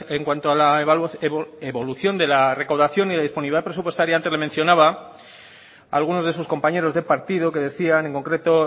en cuanto a la evolución de la recaudación y la disponibilidad presupuestaria antes la mencionaba algunos de sus compañeros de partido que decían en concreto